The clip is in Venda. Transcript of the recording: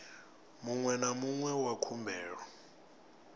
muṅwe na muṅwe wa khumbelo